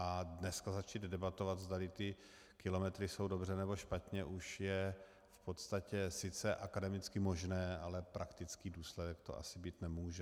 A dneska začít debatovat, zdali ty kilometry jsou dobře, nebo špatně, už je v podstatě sice akademicky možné, ale praktický důsledek to asi mít nemůže.